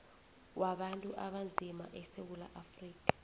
wabantu abanzima esewula